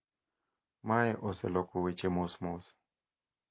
Mae oseloko weche mos mos